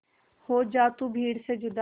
हो जा तू भीड़ से जुदा